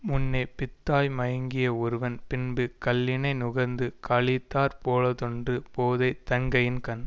முன்னே பித்தாய் மயங்கிய ஒருவன் பின்பு கள்ளினை நுகர்ந்து களித்தாற் போலாவதொன்று போதை தன்கையின்கண்